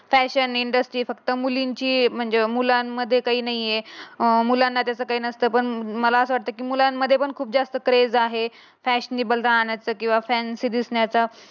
Fashion industry फक्त मुलींची म्हणजे मुलांमध्ये काही नाही आहे. अं मुलांना त्याच काही नसतं पण मला अस वाटत की मुलांमध्ये पण खूप जास्त क्रेझ आहे. फॅशनेबल राहण्याचे किंवा फॅनशी दिसण्याच.